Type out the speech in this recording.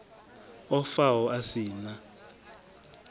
o faho a si na